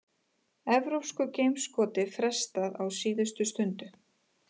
Evrópsku geimskoti frestað á síðustu stundu